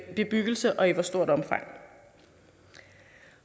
bebyggelse og i hvor stort omfang